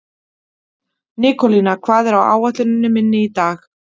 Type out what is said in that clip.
Nikólína, hvað er á áætluninni minni í dag?